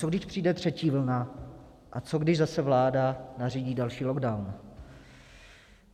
Co když přijde třetí vlna a co když zase vláda nařídí další lockdown?